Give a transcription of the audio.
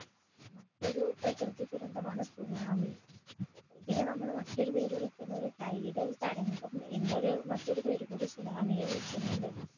മറ്റൊരു പ്രകൃതി ദുരന്തമാണ് സുനാമി ഇതിനെ നമ്മൾ മറ്റൊരു പേര് വിളിക്കുന്നത് tidal തരംഗം എന്നൊരു മറ്റൊരു പേരുംകൂടി സുനാമിയെ വിളിക്കിന്നുണ്ട്